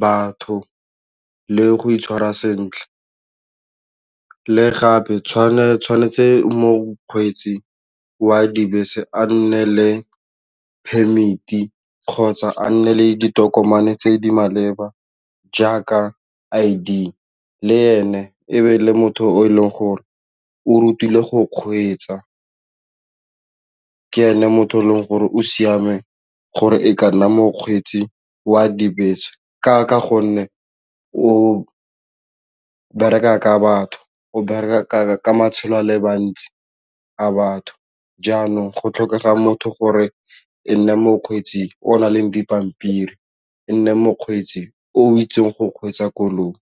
batho le go itshwara sentle le gape tshwanetse mokgweetsi wa dibese a nne le permit-e kgotsa a nne le ditokomane tse di maleba jaaka I_D le ene ebe le motho o e leng gore o rutilwe go kgweetsa ke ene motho e leng gore o siame gore e ka nna mokgweetsi wa dibese ka gonne o bereka ka batho, o bereka ka matshelo a le mantsi a batho jaanong go tlhokega motho gore e nne mokgweetsi o na le dipampiri e nne mokgweetsi o itseng go kgweetsa koloi.